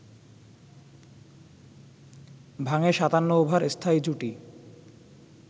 ভাঙে ৫৭ ওভার স্থায়ী জুটি